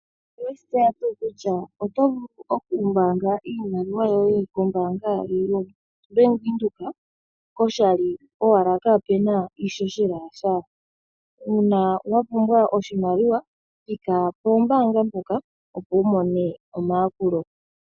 Oweshi tseya tuu kutya oto vulu oku mbaanga iimaliwa yoye ko Bank Windhoek koshali owala kapuna iishoshela yasha. Uuna wa pumbwa oshimaliwa thika pombaanga ndhoka opo wu mone omayakulo.